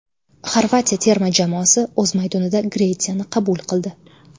Xorvatiya terma jamoasi o‘z maydonida Gretsiyani qabul qildi.